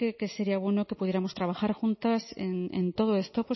que sería bueno que pudiéramos trabajar juntas en todo esto